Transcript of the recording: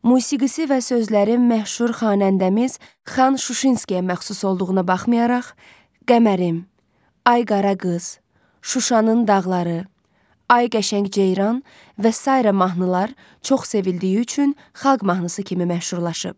Musikisi və sözləri məşhur xanəndəmiz Xan Şuşinskiyə məxsus olduğuna baxmayaraq, Qəmərim, Ay Qara Qız, Şuşanın dağları, Ay Qəşəng Ceyran və sairə mahnılar çox sevildiyi üçün xalq mahnısı kimi məşhurlaşıb.